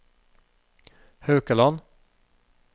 Haukeland